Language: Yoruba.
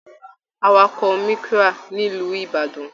Àwàkọ̀ Micra nílu ìbàdàn